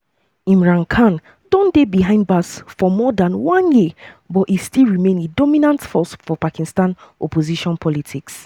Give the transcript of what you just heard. imran khan don dey behind bars for more dan one year but e still remain a dominant force for pakistan opposition politics.